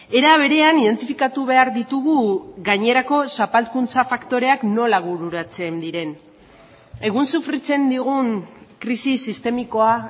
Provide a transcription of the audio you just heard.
era berean identifikatu behar ditugu gainerako zapalkuntza faktoreak nola bururatzen diren egun sofritzen digun krisi sistemikoa